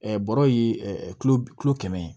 bɔrɔ ye kulo kilo kɛmɛ ye